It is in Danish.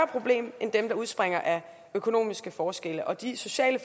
problem end dem der udspringer af økonomiske forskelle og de sociale